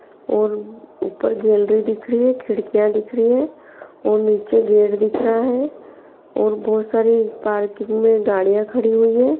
और ऊपर गेलरी दिख रही है खिड़कियाँ दिख रही है और नीचे गेट दिख रहा है और बहुत सारी पार्किंग में गाड़ियाँ खड़ी हुई है।